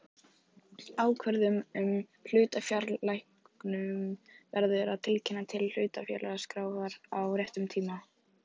Ákvörðun um hlutafjárlækkun verður að tilkynna til hlutafélagaskrár á réttum tíma.